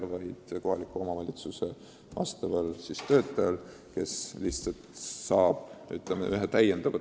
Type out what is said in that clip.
Eesmärk on aidata kohaliku omavalitsuse sotsiaaltöötajal juhtumikorralduslikku noorsootööd paremini teha.